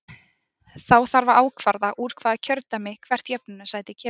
Þá þarf að ákvarða úr hvaða kjördæmi hvert jöfnunarsæti kemur.